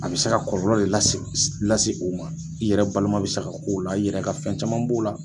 A bɛ se ka kɔlɔlɔ de lase lase o ma i yɛrɛ balima bɛ se ka k'o la i yɛrɛ ka fɛn caman b'o la.